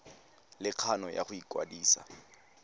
le kgano ya go ikwadisa